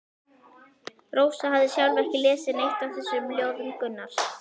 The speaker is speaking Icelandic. Rósa hafði sjálf ekki lesið neitt af þessum ljóðum Gunnars.